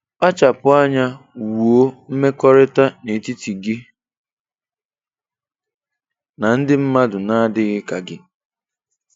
Kpachapụ anya wuo mmekọrịta n'etiti gị na ndị mmadụ na-adịghị ka gị.